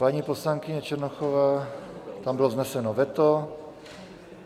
Paní poslankyně Černochová - tam bylo vzneseno veto.